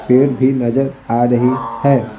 पेड़ भी नजर आ रही है।